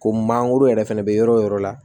Ko mangoro yɛrɛ fana bɛ yɔrɔ o yɔrɔ la